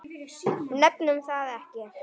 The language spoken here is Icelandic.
Nefnum það ekki.